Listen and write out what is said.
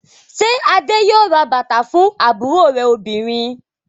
Ṣé Adé yóò ra bàtà fún àbúrò rẹ̀ obìnrin?